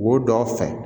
Wo dɔ fɛ